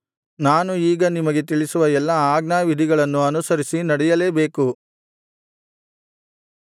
ನಾನು ಈಗ ನಿಮಗೆ ತಿಳಿಸುವ ಎಲ್ಲಾ ಆಜ್ಞಾವಿಧಿಗಳನ್ನು ಅನುರಿಸಿ ನಡೆಯಲೇಬೇಕು